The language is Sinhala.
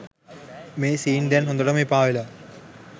මේ සීන් දැන් හොඳටම එපා වෙලා.